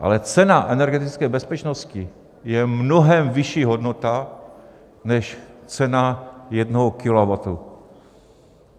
Ale cena energetické bezpečnosti je mnohem vyšší hodnota než cena jednoho kilowattu.